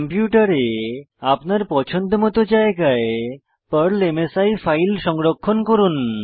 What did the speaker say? কম্পিউটারে আপনার পছন্দমত জায়গায় পর্ল মাসি ফাইল সংরক্ষণ করুন